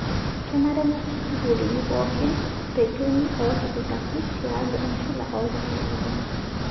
Kenare nesuj sukuuli pookin reteni ootipikaki tialo enchula ooltung'ana kumok.